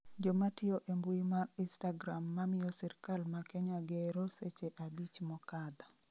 jomatiyo e mbui mar istagram mamiyo Sirikal ma Kenya gero seche abich mokadho